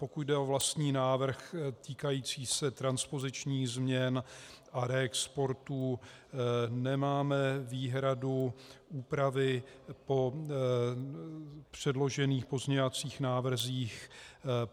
Pokud jde o vlastní návrh týkající se transpoziční změn a reexportů, nemáme výhradu úpravy po předložených pozměňovacích návrzích.